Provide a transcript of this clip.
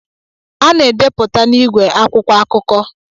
A na-edeputa n'ìgwè akwụkwọ akuko